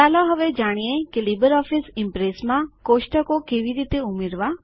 ચાલો હવે જાણીએ કે લીબરઓફીસ ઈમ્પ્રેસમાં કોષ્ટક કેવી રીતે ઉમેરવા